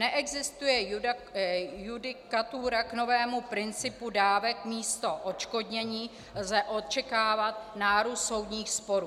Neexistuje judikatura k novému principu dávek, místo odškodnění lze očekávat nárůst soudních sporů.